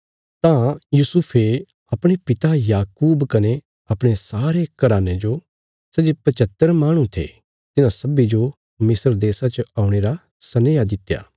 तां यूसुफे अपणे पिता याकूब कने अपणे सारे घराने जो सै जे पच्हतर माहणु थे तिन्हां सब्बीं जो मिस्र देशा च औणे रा सनेहा दित्या